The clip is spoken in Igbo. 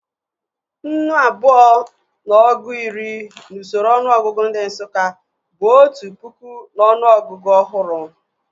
Nnu abụọ na ọgụ iri n'usoro ọnụọgụgụ ndị Nsụka bụ otu pụkụ n'ọnụ ọgụgụ ọhụrụ